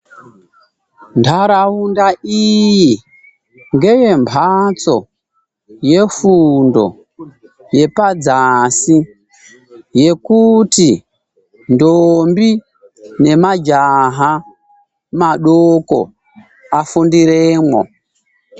Ntaraunda iyi ngeyemhatso yefundo yepadzasi yekuti ndombi nemajaha madoko afundiremwo.